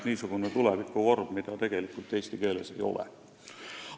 Tegu on tulevikuvormiga, mida tegelikult eesti keeles ei ole.